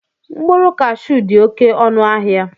Mkpụrụ kashuu dị oké ọnụ ahịa